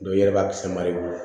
i yɛrɛ b'a sama i bolo